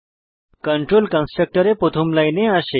control কন্সট্রকটরে প্রথম লাইনে আসে